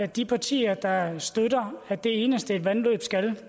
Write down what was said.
de partier der støtter at det eneste et vandløb skal